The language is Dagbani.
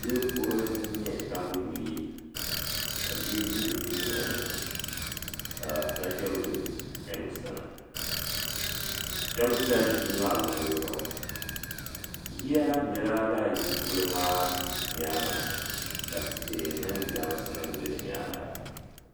Yili kurili din nyɛ tambu buyi ka bia ʒi di dunolini ka nachimbila chɛni o sani shɛba zila yilimaa luɣuli zuɣu yiya lahi bela lala yili kurili maa nyaanga ka tihi mini jirambisa nima be di nyaanga.